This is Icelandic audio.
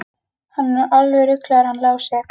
Hann er nú alveg ruglaður hann Lási.